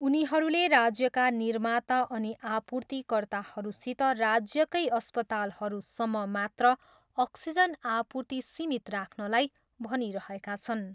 उनीहरूले राज्यका निर्माता अनि आपूर्तिकर्ताहरूसित राज्यकै अस्पतालहरूसम्म मात्र अक्सिजन आपूर्ति सीमित राख्नलाई भनिरहेका छन्।